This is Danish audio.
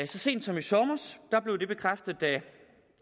sent som i sommer blev det bekræftet